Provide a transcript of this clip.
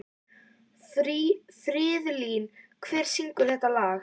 Friðlín, hver syngur þetta lag?